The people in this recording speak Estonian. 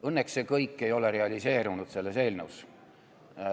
Õnneks ei ole see kõik selles eelnõus realiseerunud.